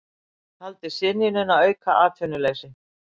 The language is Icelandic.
Taldi synjunina auka atvinnuleysi